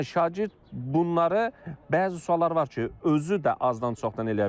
Yəni şagird bunları bəzi suallar var ki, özü də azdan-çoxdan eləyə bilər.